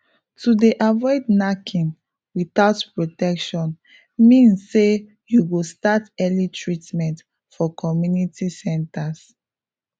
to dey avoid knacking without protection means say you go start early treatment for community centres